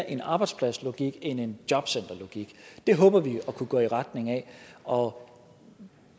en arbejdspladslogik end en jobcenterlogik det håber vi at kunne gå i retning af og